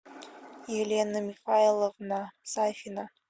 елена михайловна сафина